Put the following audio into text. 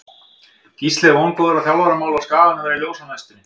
Gísli er vongóður að þjálfaramál á Skaganum verði ljós á næstunni.